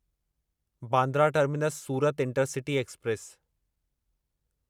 Bandra terminus Surat intercity express